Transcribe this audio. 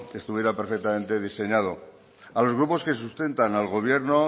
estuviera perfectamente diseñado a los grupos que sustentan al gobierno